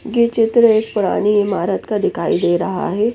ये चित्र एक पुरानी ईमारत का दिखाई दे रहा है।